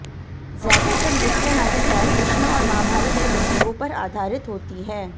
ज्यादातर नृत्य नाटिकाएं कृष्ण और महाभारत के प्रसंगों पर आधारित होती हैं